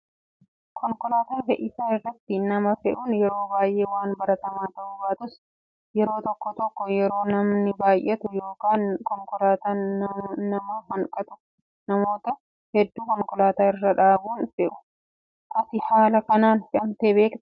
Konkolaataa fe'iisaa irratti nama fe'uun yeroo baay'ee waan baratamaa ta'uu baatus yeroo tokko tokko yeroo namni baay'atu yookaan konkolaataan nama hanqatu namoota hedduu konkolaataa irra dhaabuun fe'u. Ati haala kanaan fe'amtee beektaa?